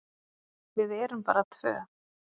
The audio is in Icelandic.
Við erum bara tvö.